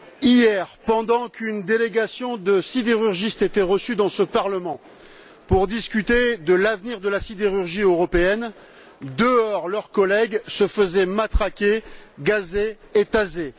Hier, pendant qu'une délégation de sidérurgistes était reçue dans ce Parlement pour discuter de l'avenir de la sidérurgie européenne, dehors leurs collègues se faisaient matraquer, gazer et taser.